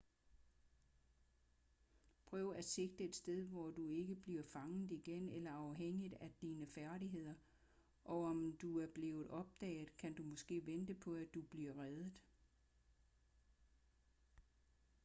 prøv at sigte et sted hvor du ikke bliver fanget igen eller afhængigt af dine færdigheder og om du er blevet opdaget kan du måske vente på at du bliver reddet